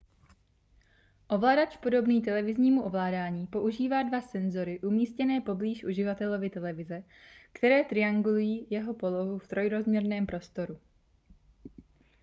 ovladač podobný televiznímu ovládání používá dva senzory umístěné poblíž uživatelovy televize které triangulují jeho polohu v trojrozměrném prostoru